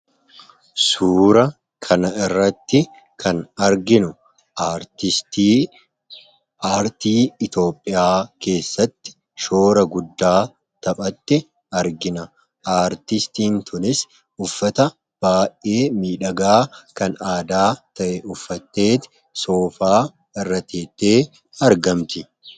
Suuraa kanarratti kan arginu artistii aartii Itoophiyaa keessatti shoora guddaa taphatte argina. Artistiin kunis uffata baay'ee miidhagaa kan aadaa ta'e uffattee soofaa irra teesseetu argamti.